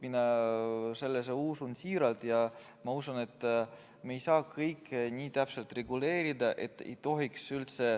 Mina usun seda siiralt ja ma usun, et me ei saa kõike nii täpselt reguleerida.